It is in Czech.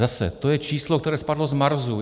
Zase, to je číslo, které spadlo z Marsu.